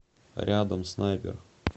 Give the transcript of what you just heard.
рядом снайпер